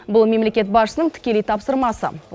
бұл мемлекет басшысының тікелей тапсырмасы